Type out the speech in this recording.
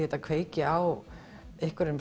þetta kveiki á einhverjum